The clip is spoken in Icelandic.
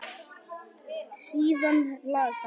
Síðan las hann